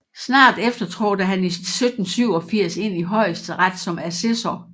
Snart efter trådte han i 1787 ind i Højesteret som assessor